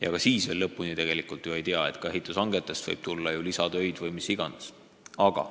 Ja ka siis veel päris viimast summat ei tea – ehitushangetestki võib tulla lisatöid või mis iganes.